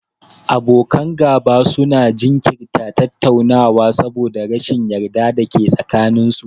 Abokan gaba su na jinkirta tattaunawa saboda rashin yarda da ke tsakanin su